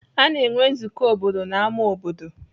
Ana enwe nzukọ obodo n'ámá obodo.